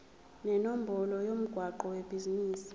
nenombolo yomgwaqo webhizinisi